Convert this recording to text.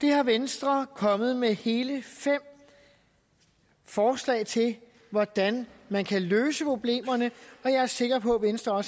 er venstre kommet med hele fem forslag til hvordan man kan løse og jeg er sikker på venstre